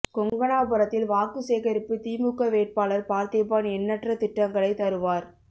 கொங்கணாபுரத்தில் வாக்கு சேகரிப்பு திமுக வேட்பாளர் பார்த்திபன் எண்ணற்ற திட்டங்களை தருவார்